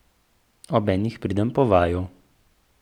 Ob enih pridem po vaju.